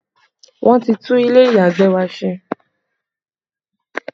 Wọn ti tún ilé ìyàgbẹ̀ wa ṣe